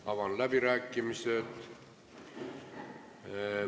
Avan läbirääkimised.